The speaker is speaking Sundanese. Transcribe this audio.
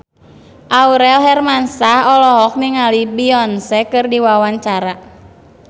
Aurel Hermansyah olohok ningali Beyonce keur diwawancara